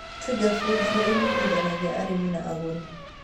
Twiga Foods nĩ ĩnyitithanagia arĩmi na agũũri.